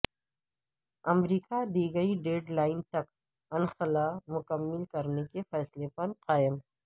امریکہ دی گئی deadline تک انخلا مکمل کرنے کے فیصلے پر قائم